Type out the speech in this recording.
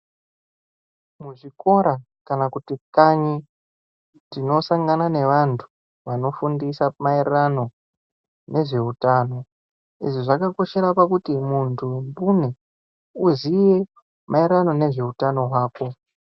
Mu zvikora kana kuti kanyi tino sangana ne vantu vano fundisa ma ererano nezve utano izvi zvaka koshera pakuti muntu mbune uziye ma ererano nezve utano hwako.